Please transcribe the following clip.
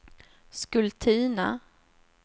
Skultuna